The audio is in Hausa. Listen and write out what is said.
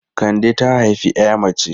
Kande ta haifi 'ya mace.